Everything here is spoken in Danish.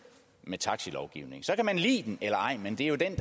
med taxalovgivningen så kan man lide den eller ej men det er jo den